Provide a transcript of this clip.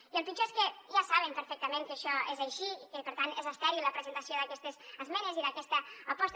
i el pitjor és que ja saben perfectament que això és així i que per tant és estèril la presentació d’aquestes esmenes i d’aquesta aposta